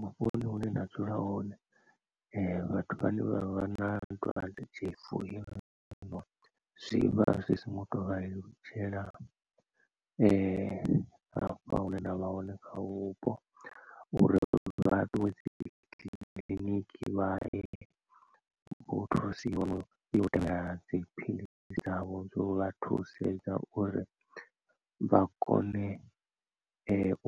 Vhuponi hune nda dzula hone vhathu vhane vha vha na dwadze tshifu heḽinoni zwi vha zwi songo to vha lelutshela hafha hune ndavha hone kha vhupo uri vha ṱuwe dzi kiḽiniki vha ye utoisiwa na uya u tevhela dziphilisi dzavho dzo vha thusedza uri vha kone